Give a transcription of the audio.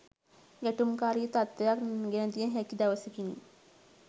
ගැටුම්කාරී තත්ත්වයක් ගෙනදිය හැකි දවසකි.